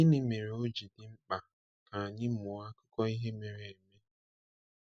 Gịnị mere ọ ji dị mkpa ka anyị mụọ akụkọ ihe mere eme?